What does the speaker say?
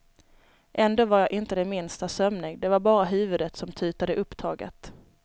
Ändå var jag inte det minsta sömnig, det var bara huvudet som tutade upptaget.